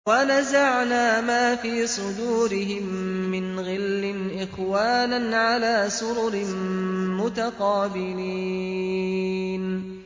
وَنَزَعْنَا مَا فِي صُدُورِهِم مِّنْ غِلٍّ إِخْوَانًا عَلَىٰ سُرُرٍ مُّتَقَابِلِينَ